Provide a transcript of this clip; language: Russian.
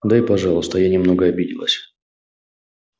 да и пожалуйста я немного обиделась